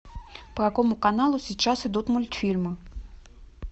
по какому каналу сейчас идут мультфильмы